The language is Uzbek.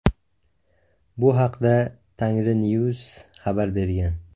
Bu haqda Tengrinews xabar bergan .